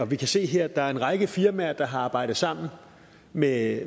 vi kan se her at der er en række firmaer der har arbejdet sammen med